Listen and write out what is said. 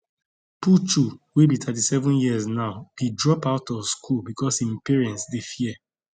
puchu wey be 37 years now bin drop out of school becos im parents dey fear